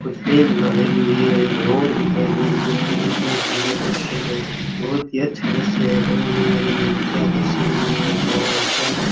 कुछ टेबलें लगी हुई है एक रोड दिखाई दे रही है इतना सुंदर दृश्य तो बहुत ही अच्छा दृश्य है बनाने वाले ने भी क्या दृश्य बनाया है वाव क्या दृश्य है।